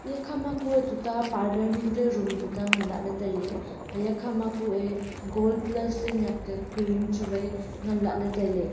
ye khama kue parlour ningka room tuta nganlah ley tailey aya khama kue gold plus ley ngaka cream chuwai ngan lahley tailey.